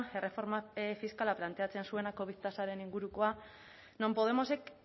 erreforma fiskala planteatzen zuenak covid tasaren ingurukoa non podemosek